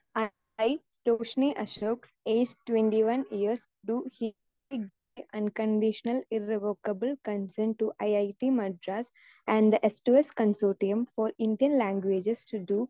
speaker 2 E Roshini Ashraf age twenty one years do conditional irrevocable concern to it Madras and yes to yes consortium for Indian languages to Dr